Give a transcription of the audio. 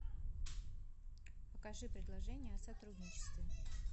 покажи предложения о сотрудничестве